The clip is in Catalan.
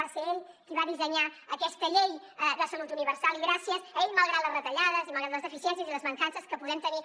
va ser ell qui va dissenyar aquesta llei de salut universal i gràcies a ell malgrat les retallades i malgrat les deficiències i les mancances que podem tenir